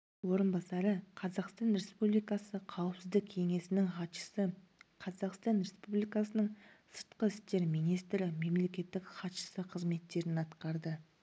орынбасары қазақстан республикасы қауіпсіздік кеңесінің хатшысы қазақстан республикасының сыртқы істер министрі мемлекеттік хатшысы қызметтерін атқарды